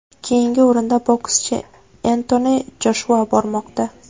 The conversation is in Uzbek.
Keyingi o‘rinda bokschi Entoni Joshua bormoqda.